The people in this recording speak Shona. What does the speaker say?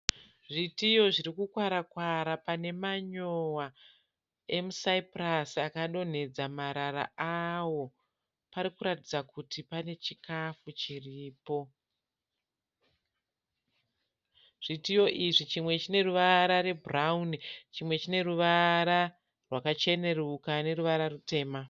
Zvitiyo zvirikukwara-kwara pane manyuwa emusaipurasi akadonhedza marara awo. Parikuratidza kuti pane chikafu chiripo. Zvitiyo izvi chimwe chineruvara rwebhurauni chimwe chine ruvara rwakacheneruka neruvara rutema.